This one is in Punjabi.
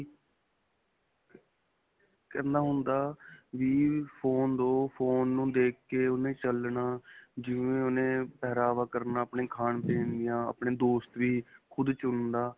ਕਰਨਾ ਹੁੰਦਾ ਵੀ phone ਦੋ phone ਨੂੰ ਦੇਖ ਕੇ ਉਨੂੰ ਚਲਣਾ, ਜਿਵੇਂ ਓਨ੍ਨੇ ਪਹਿਰਾਵਾ ਕਰਨਾ, ਆਪਣੇ ਖਾਣ-ਪੀਣ ਦੀਆਂ ਆਪਣੇ ਦੋਸਤ ਵੀ ਖੁਦ ਚੁਣਦਾ.